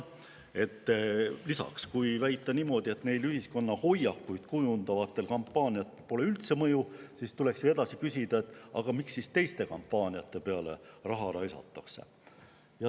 Lisaks, kui väita niimoodi, et neil ühiskonna hoiakuid kujundavatel kampaaniatel pole üldse mõju, tuleks ju edasi küsida, miks siis teiste kampaaniate peale raha raisatakse.